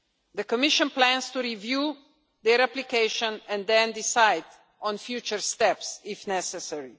The Commission plans to review their application and then decide on future steps if necessary.